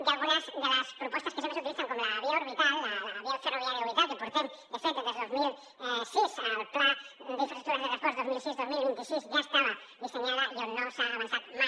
i algunes de les propostes que sempre s’utilitzen com la via orbital la via ferroviària orbital que portem de fet des del dos mil sis al pla d’infraestructures de transports dos mil sis dos mil vint sis ja estava dissenyada i on no s’ha avançat mai